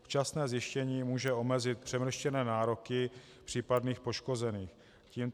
Včasné zjištění může omezit přemrštěné nároky případných poškozených.